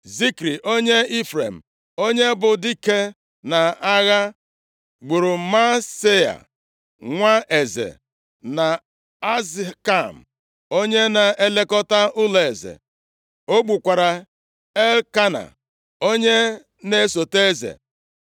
Zikri onye Ifrem, onye bụ dike nʼagha, gburu Maaseia, nwa eze, na Azrikam onye na-elekọta ụlọeze. O gbukwara Elkena onye na-esota eze.